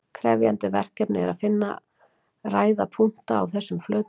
Krefjandi verkefni er að finna ræða punkta á þessum flötum.